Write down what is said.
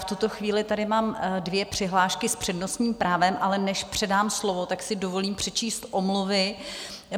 V tuto chvíli tady mám dvě přihlášky s přednostním právem, ale než předám slovo, tak si dovolím přečíst omluvy.